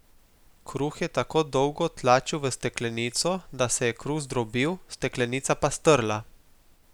Kruh je tako dolgo tlačil v steklenico, da se je kruh zdrobil, steklenica pa strla.